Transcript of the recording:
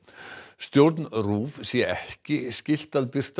stjórn RÚV sé ekki skylt að birta